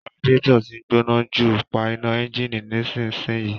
Radiator tí ń gbóná jù, pa iná ẹ́ńjìnì nísinsìnyí